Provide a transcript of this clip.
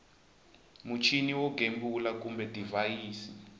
muchini wo gembula kumbe divhayisi